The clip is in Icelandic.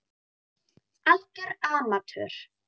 Algjör amatör.